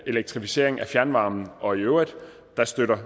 elektrificeringen af fjernvarmen og i øvrigt støtter